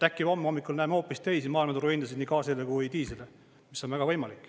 Äkki homme hommikul näeme hoopis teisi maailmaturuhindasid nii gaasile kui diislile, mis on väga võimalik.